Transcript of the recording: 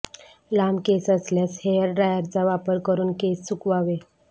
लांब केस असल्यास हेअर ड्रायरचा वापर करुन केस सुकवावे